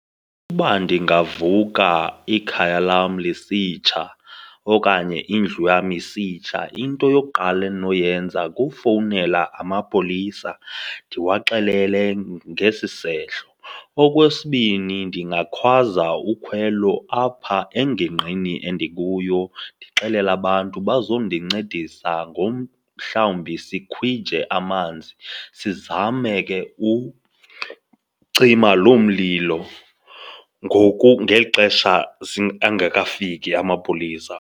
Uba ndingavuka ikhaya lam lisitsha okanye indlu yam isitsha, into yokuqala endinoyenza kufowunela amapolisa ndiwaxelele ngesi sehlo. Okwesibini, ndingakhwaza ukhwelo apha engingqini endikuyo ndixelele abantu bazondincedisa ngomhlawumbi sikhwije amanzi, sizame ke ucima loo mlilo ngoku, ngeli xesha angekafiki amapolisa.